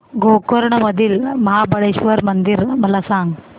गोकर्ण मधील महाबलेश्वर मंदिर मला सांग